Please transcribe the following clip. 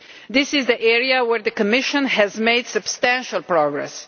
This is the area where the Commission has made substantial progress.